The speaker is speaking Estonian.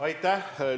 Aitäh!